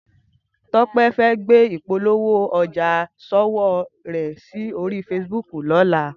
Tope fè gbé ipólówó òjá ṣówó rè si óri fésibúk lòlá